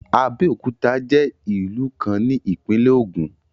Abeokuta je ilu kan ni Ipinle Ogun